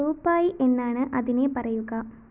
റുപായ് എന്നാണ് അതിനെ പറയുക